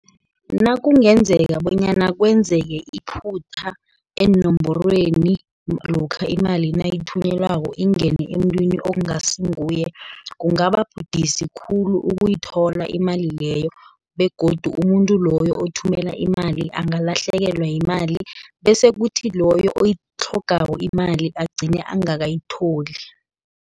Nakungenzeka bonyana kwenzeke iphutha, eenomborweni lokha imali nayithunyelwako ingene emuntwini okungasinguye, kungaba budisi khulu ukuyithola imali leyo, begodu umuntu loyo othumela imali angalahlekelwa yimali, bese kuthi loyo oyitlhogako imali agcine angakayitholi.